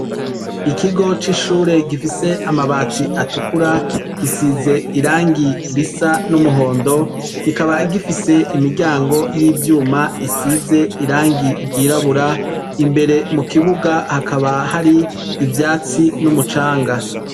Ikigo c'ishuri gifise amabati atukura gisize irangi risa n'umuhondo kikaba gifise imiryango y'ivyuma isize irangi ryirabura imbere mu kibuga hakaba hari ivyatsi n'umucanga.